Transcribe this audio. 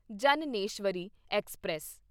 Jnaneswari express